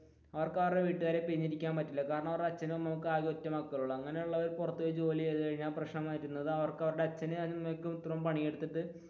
അവർക്ക് അവരുടെ വീട്ടുകാരെ പിരിഞ്ഞു ഇരിക്കാന് പറ്റില്ല കാരണം അവരുടെ അച്ഛനും അമ്മയ്ക്കും ഒറ്റ മക്കളെയുള്ളു അങ്ങനെയുള്ളവർ പുറത്തു പോയി ജോലി ചെയ്തു കഴിഞ്ഞാൽ പ്രശ്നം വരുന്നത് അവർക്ക് അവരുടെ